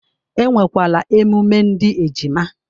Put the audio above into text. E nwekwara emume ndị ejima